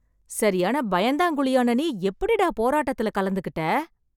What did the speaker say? சரியான பயந்தாங்குளியான நீ எப்டிடா போராட்டத்துல கலந்துக்கிட்டே...